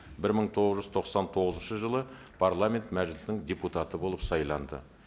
бір мың тоғыз жүз тоқсан тоғызыншы жылы парламент мәжілісінің депутаты болып сайланды